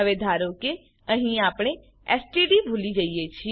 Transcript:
હવે ધારો કે અહીં આપણે એસટીડી ભૂલી જઈએ છીએ